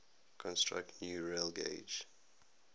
construct new railgauge